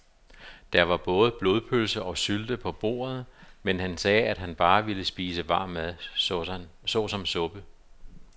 Der var både blodpølse og sylte på bordet, men han sagde, at han bare ville spise varm mad såsom suppe.